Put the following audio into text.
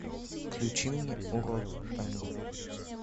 включи мне урок танго